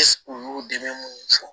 u y'u dɛmɛ minnu fɔ